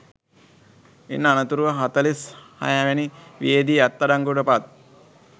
ඉන් අනතුරුව හතලිස් හය වැනි වියේදී අත් අඩංගුවට පත්